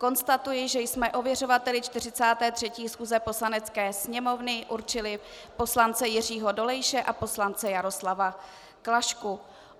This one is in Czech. Konstatuji, že jsme ověřovateli 43. schůze Poslanecké sněmovny určili poslance Jiřího Dolejše a poslance Jaroslava Klašku.